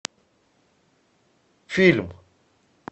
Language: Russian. фильм